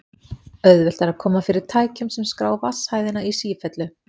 Auðvelt er að koma fyrir tækjum sem skrá vatnshæðina í sífellu.